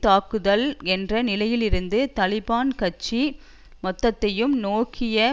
தாக்குதல் என்ற நிலையிலிருந்து தலிபான் கட்சி மொத்தத்தையும் நோக்கிய